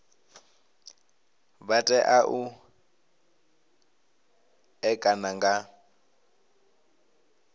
vha tea u ṋekana nga